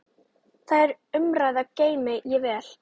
Þær umræður geymi ég vel.